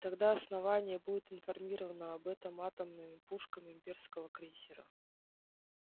тогда основание будет информировано об этом атомными пушками имперского крейсера